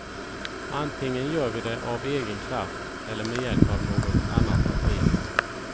Antingen gör vi det av egen kraft eller med hjälp av något annat parti.